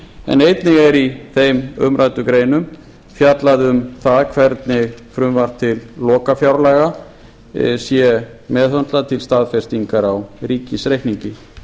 en einnig er í þeim umræddu greinum fjallað um það hvernig frumvarp til lokafjárlaga sé meðhöndlað til staðfestingar á ríkisreikningi